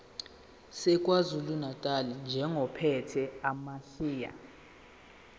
sakwazulunatali njengophethe amasheya